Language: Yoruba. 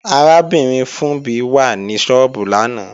Arábìnrin Funbí wà ní sọ́ọ́bù lánàá